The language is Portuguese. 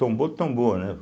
Tombou, tombou, né.